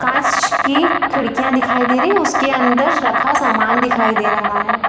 कांच कि खिड़कियां दिखाई दे रही है उसके अंदर रखा सामान दिखाई दे रहा है।